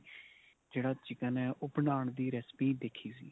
ਜਿਹੜਾ chicken ਏ ਉਹ ਬਣਾਨ ਦੀ recipe ਦੇਖੀ ਸੀ.